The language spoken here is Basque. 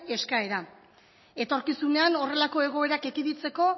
eskaera etorkizunean horrelako egoerak ekiditeko